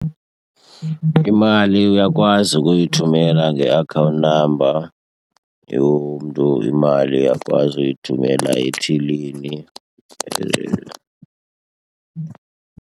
Imali uyakwazi ukuyithumela nge-account number yomntu, imali uyakwazi uyithumela ethilini .